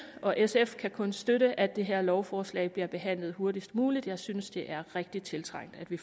og sf kan kun støtte at det her lovforslag bliver behandlet hurtigst muligt jeg synes det er rigtig tiltrængt at vi